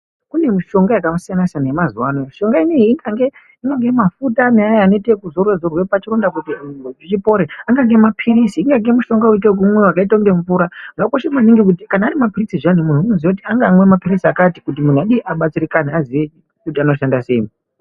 Kune mushonga yakasiyana siyana yemazuwa ano mushonga unou ikange inoda mafuta Naya anoitwa zvekuzorwa zorwa pachironda kuti chipore ange mapirisi anyange mushonga unoita okumwiwa wakaita kunge mvura zvakakosha maningi kuti kana ari mapirizi zviyani mundu wamaiziya kuti angamwa mapirisi akati kuti mundu abatsirikane aziye kuti inozhanda sei